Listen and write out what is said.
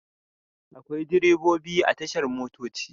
Akwai direbobi a tashar motoci.